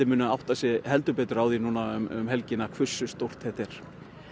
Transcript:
muni átta sig heldur betur á því um helgina hversu stórt þetta er